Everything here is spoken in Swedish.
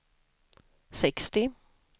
sextio